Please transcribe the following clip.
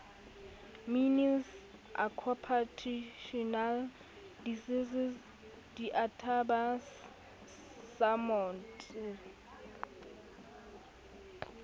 mines occupational diseases database samodd